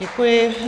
Děkuji.